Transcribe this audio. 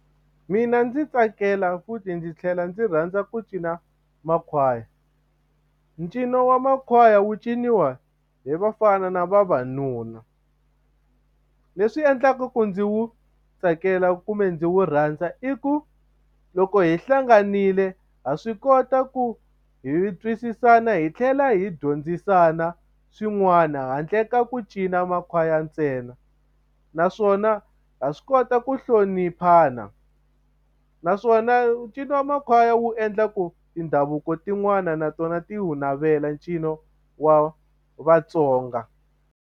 Mina ndzi tsakela futhi ndzi tlhela ndzi rhandza ku cina makhwaya ncino wa makhwaya wu ciniwa hi vafana na vavanuna leswi endlaka ku ndzi wu tsakela kumbe ndzi wu rhandza i ku loko hi hlanganile ha swi kota ku hi twisisana hi tlhela hi dyondzisana swin'wana handle ka ku cina makhwaya ntsena naswona ha swi kota ku hloniphana naswona ncino wa makhwaya wu endla ku tindhavuko tin'wani na tona ti wu navela ncino wa Vatsonga.